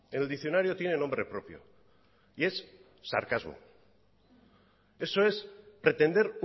el diccionario tiene nombre propio y es sarcasmo eso es pretender